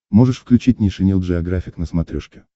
можешь включить нейшенел джеографик на смотрешке